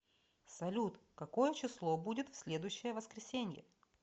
салют какое число будет в следующее воскресенье